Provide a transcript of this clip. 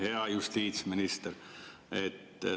Hea justiitsminister!